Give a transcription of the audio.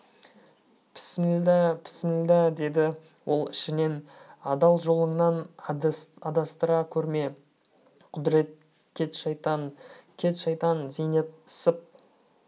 пісмілда пісмілда деді ол ішінен адал жолыңнан адастыра көрме құдірет кет шайтан кет шайтан зейнеп сып